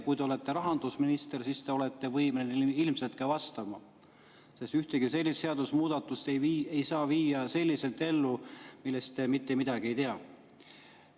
Kui te olete rahandusminister, siis te ilmselt olete võimeline ka vastama, sest ühtegi sellist seadusemuudatust ei saa viia ellu, kui te sellest mitte midagi ei tea.